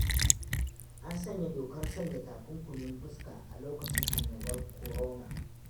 An sanya dokar sanya takunkumi fuska a lokacin annobar korona.